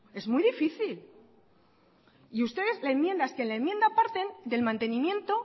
es que vuestra enmienda parte del mantenimiento